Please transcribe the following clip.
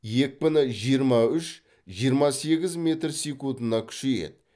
екпіні жиырма үш жиырма сегіз метр секундына күшейеді